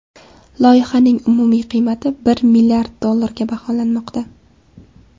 Loyihaning umumiy qiymati bir milliard dollarga baholanmoqda.